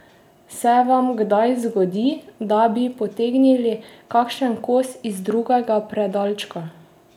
Se vam kdaj zgodi, da bi potegnili kakšen kos iz drugega predalčka?